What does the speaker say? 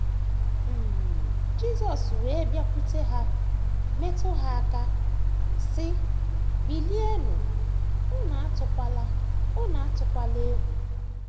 um Jisọs wee bịakwute ha, metụ ha aka, sị, Bilienụ, unu atụkwala, unu atụkwala egwu. ”